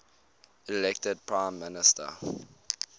elected prime minister